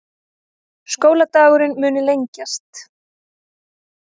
Skóladagurinn muni lengjast